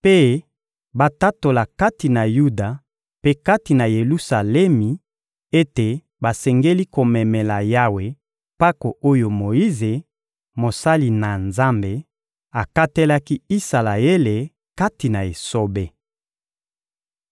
mpe batatola kati na Yuda mpe kati na Yelusalemi ete basengeli komemela Yawe mpako oyo Moyize, mosali na Nzambe, akatelaki Isalaele kati na esobe.